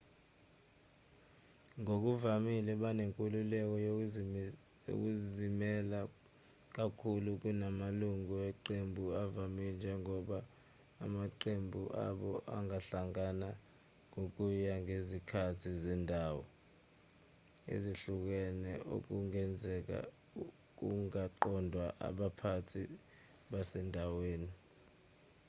ngokuvamile banenkululeko yokuzimela kakhulu kunamalungu eqembu avamile njengoba amaqembu abo angahlangana ngokuya ngezikhathi zendawo ezihlukene okungenzeka kungaqondwa abaphathi basendaweni